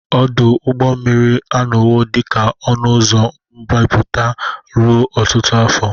Ọdụ ụgbọ mmiri anọwo dị ka ọnụ ụzọ mbubata ruo ọtụtụ afọ.